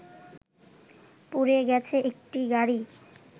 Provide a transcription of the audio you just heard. পুড়ে গেছে একটি গাড়ি